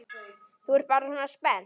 Þú ert bara svona spennt.